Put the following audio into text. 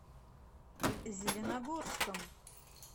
зеленогорском